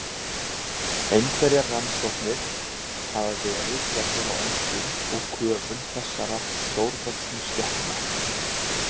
Einhverjar rannsóknir hafa verið gerðar á öndun og köfun þessara stórvöxnu skepna.